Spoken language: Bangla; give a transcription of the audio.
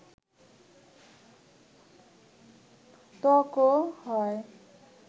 ত্বকও হয়